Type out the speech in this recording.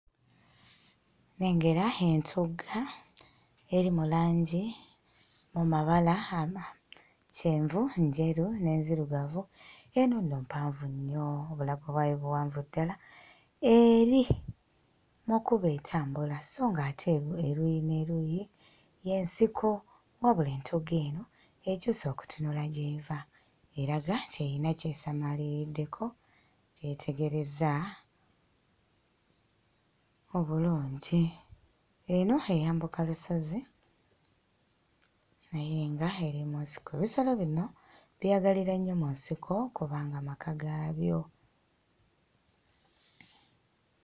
Nnengera entugga eri mu langi mu mabala ama kyenvu, njeru n'enzirugavu; eno nno mpanvu nnyo, obulago bwayo buvanvu ddala. Eri mu kkubo etambula so ng'ate eruuyi n'eruuyi y'ensiko wabula entugga eno ekyuse okutunula gy'eva eraga nti eyina ky'esamaaliriddeko kye yeetegereza obulungi. Eno eyambuka lusozi naye nga eri mu nsiko. Ebisolo bino byeyagalira nnyo mu nsiko kubanga maka gaabyo.